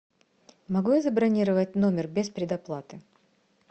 могу я забронировать номер без предоплаты